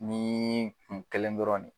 Ni nin kelen dɔrɔn de